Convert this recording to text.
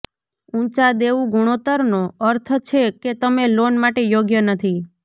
ઊંચા દેવું ગુણોત્તરનો અર્થ છે કે તમે લોન માટે યોગ્ય નથી